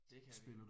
Det kan vi